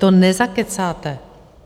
To nezakecáte.